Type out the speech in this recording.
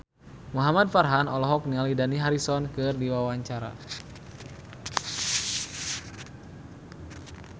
Muhamad Farhan olohok ningali Dani Harrison keur diwawancara